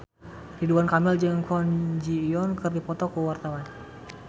Ridwan Kamil jeung Kwon Ji Yong keur dipoto ku wartawan